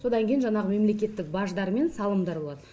содан кейін жаңағы мемлекеттік баждар мен салымдар болады